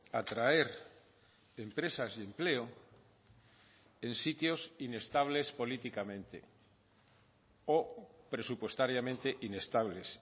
atraer empresas y empleo en sitios inestables políticamente o presupuestariamente inestables